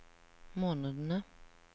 månedene